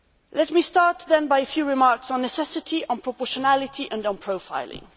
Let me start with a few remarks on necessity and proportionality and on profiling.